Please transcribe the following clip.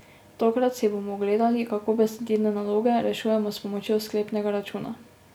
Tokrat si bomo ogledali, kako besedilne naloge rešujemo s pomočjo sklepnega računa.